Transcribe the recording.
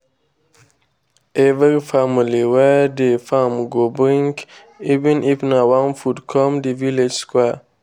every family wey dey farm go bring even if na one food come the village square.